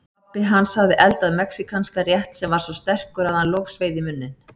Pabbi hans hafði eldað mexíkanskan rétt sem var svo sterkur að hann logsveið í munninn.